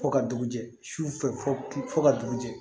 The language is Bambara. Fo ka dugu jɛ sufɛ fɔ ka dugu jɛ